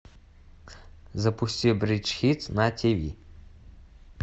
запусти бридж хитс на ти ви